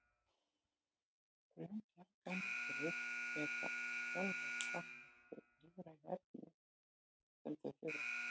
frumbjarga lífverur geta sjálfar framleitt þau lífrænu efni sem þær þurfa